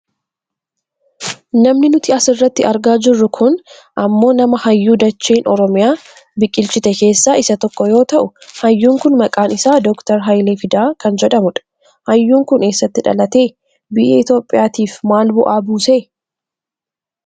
Namni nuti asirratti argaa jirru kun ammoo nama hayyuu dacheen Oromiyaa biqilchite keessaa isa tokko yoo ta'u, hayyuun kun maqaan isaa Dr. Hayilee Fidaa kan jedhamudha. Hayyuun kun eessatti dhalate? Biyya Itoopiyaatiif maal bu'aa buuse?